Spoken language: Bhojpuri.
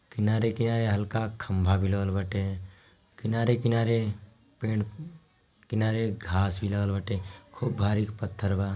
किनारे-किनारे हल्का खम्बा भी लगल बाटे किनारे-किनारे पेड़ किनारे घाँस भी लगल बाटे खूब भारी पथ्थर बा |